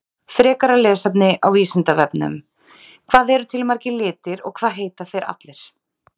Frekara lesefni á Vísindavefnum: Hvað eru til margir litir og hvað heita þeir allir?